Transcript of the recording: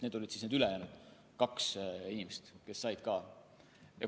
Need olid siis need ülejäänud kaks inimest, kes said samuti kodakondsuse.